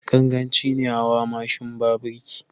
Ganganci ne hawa mashin ba birki.